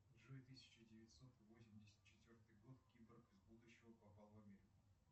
джой тысяча девятьсот восемьдесят четвертый год киборг из будущего попал в америку